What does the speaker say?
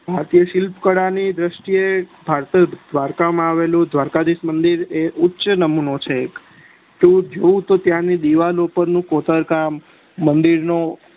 ભારતીય શિલ્પ કળા ની દ્રષ્ટી એ દ્વારકા માં એવેલું દ્વારકાધીસ નું મદિર એ ઉચ નમુનો છ તું જોવ તો ત્યાં ની દીવાલો ઉપર કોતર કા મદિર નું